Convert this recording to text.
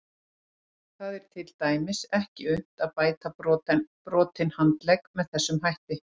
Það er til dæmis ekki unnt að bæta brotinn handlegg með þessum hætti.